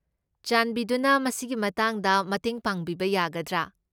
ꯆꯥꯟꯕꯤꯗꯨꯅ ꯃꯁꯤꯒꯤ ꯃꯇꯥꯡꯗ ꯃꯇꯦꯡ ꯄꯥꯡꯕꯤꯕ ꯌꯥꯒꯗ꯭ꯔꯥ?